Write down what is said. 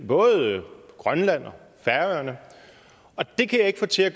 både grønland og færøerne og det kan jeg ikke få til at